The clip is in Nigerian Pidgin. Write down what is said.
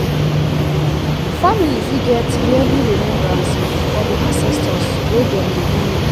family fit get yearly remembrance for di ancestor wey dem dey honour